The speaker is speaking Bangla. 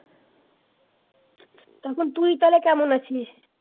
এখন তুই তাহলে কেমন আছিস?